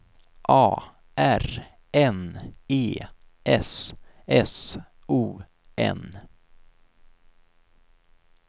A R N E S S O N